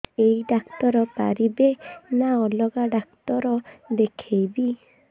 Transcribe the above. ଏଇ ଡ଼ାକ୍ତର ପାରିବେ ନା ଅଲଗା ଡ଼ାକ୍ତର ଦେଖେଇବି